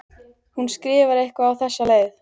Hún skrifar eitthvað á þessa leið: